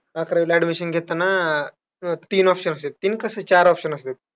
अकरावीला admission घेताना तीन options आहेत. तीन कसे? चार options असायचे.